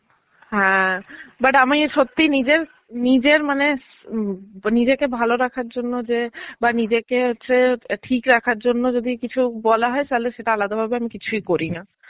হ্যাঁ, but আমি সত্যি নিজের নিজের মানে ব নিজেকে ভালো রাখার জন্যে যে বা নিজেকে হচ্ছে ঠিক রাখার জন্যে যদি কিছু বলা হয় তাহলে সেটা আলাদা ভাবে কিছুই করি না.